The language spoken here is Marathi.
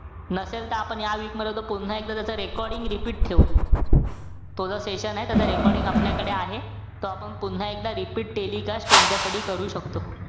नसेल त आपण या week मध्ये, पुन्हा एकदा त्याच recording repeat ठेऊ. तो जो session ए, त्याच recording आपल्याकडे आहे. तो आपण पुन्हा एकदा repeat telecast तुमच्यासाठी करू शकतो.